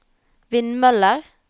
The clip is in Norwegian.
vindmøller